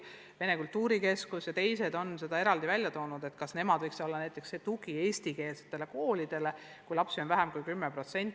Vene kultuurikeskus ja pühapäevakoolid on selle eraldi välja toonud ja küsinud, kas nemad võiks olla see tugi eestikeelsetele koolidele, kus vene lapsi on vähem kui 10%.